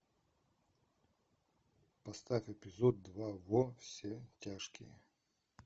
поставь эпизод два во все тяжкие